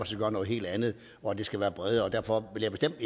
skal gøre noget helt andet og at det skal være bredere og derfor vil jeg bestemt